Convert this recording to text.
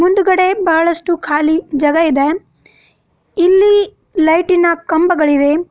ಮುಂದ್ಗಡೆ ಬಹಳಷ್ಟು ಖಾಲಿ ಜಗ ಇದೆ ಇಲ್ಲಿ ಲೈಟಿನ ಕಂಬಗಳಿವೆ.